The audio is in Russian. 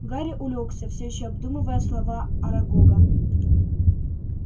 гарри улёгся всё ещё обдумывая слова арагога